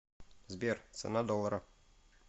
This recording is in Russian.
сбер цена доллара